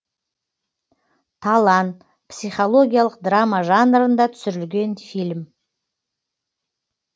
талан психологиялық драма жанрында түсірілген фильм